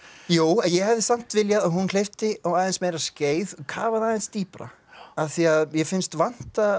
jú ég hefði samt viljað að hún hleypti á aðeins meira skeið og kafaði aðeins dýpra af því að mér finnst vanta